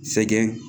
Sɛgɛn